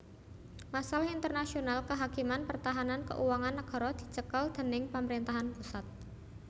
Masalah internasional kehakiman pertahanan keuangan nagara dicekel déning pamrentahan pusat